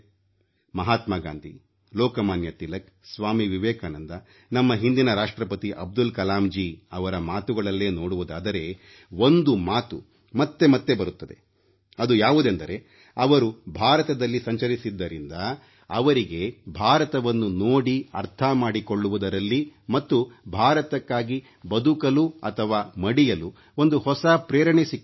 ಮಹಾತ್ಮ ಗಾಂಧಿ ಲೋಕಮಾನ್ಯ ತಿಲಕ್ ಸ್ವಾಮಿ ವಿವೇಕಾನಂದ ನಮ್ಮ ಹಿಂದಿನ ರಾಷ್ಟ್ರಪತಿ ಅಬ್ದುಲ್ ಕಲಾಮ್ ಜೀ ಇವರ ಮಾತುಗಳಲ್ಲೇ ನೋಡುವುದಾದರೆ ಒಂದು ಮಾತು ಮತ್ತೆ ಮತ್ತೆ ಬರುತ್ತದೆ ಅದು ಯಾವುದೆಂದರೆ ಅವರು ಭಾರತದಲ್ಲಿ ಸಂಚರಿಸಿದ್ದರಿಂದ ಅವರಿಗೆ ಭಾರತವನ್ನು ನೋಡಿ ಅರ್ಥ ಮಾಡಿಕೊಳ್ಳುವುದರಲ್ಲಿ ಮತ್ತು ಭಾರತಕ್ಕಾಗಿ ಬದುಕಲು ಅಥವಾ ಮಡಿಯಲು ಒಂದು ಹೊಸ ಪ್ರೇರಣೆ ಸಿಕ್ಕಿತು